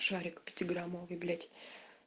шарик пяти граммовый блять